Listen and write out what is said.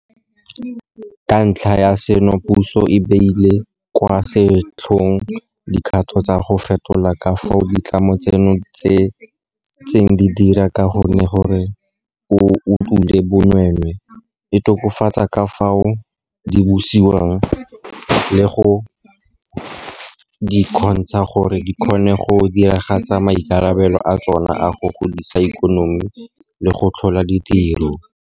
Ka ntlha ya seno puso e beile kwa setlhoeng dikgato tsa go fetola ka fao ditlamo tseno di ntseng di dira ka gone gore e utolle bonweenwee, e tokafatse ka fao di busiwang le go di kgontsha gore di kgone go diragatsa maikarabelo a tsona a go godisa ikonomi le go tlhola ditiro.